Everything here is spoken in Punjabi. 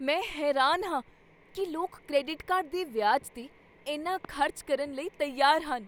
ਮੈਂ ਹੈਰਾਨ ਹਾਂ ਕੀ ਲੋਕ ਕ੍ਰੈਡਿਟ ਕਾਰਡ ਦੇ ਵਿਆਜ 'ਤੇ ਇੰਨਾ ਖ਼ਰਚ ਕਰਨ ਲਈ ਤਿਆਰ ਹਨ।